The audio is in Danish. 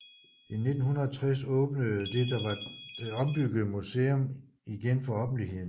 I 1960 åbnede det var det ombyggede museum igen for offentligheden